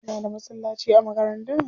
Kuna da masallaci a makaranta?